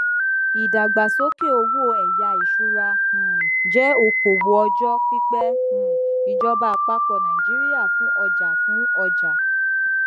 ìdàgbàsókè owó ẹyá ìṣúra um jẹ okòwò ọjọ pípẹ um ìjọba àpapọ nàìjíríà fún ọjà fún ọjà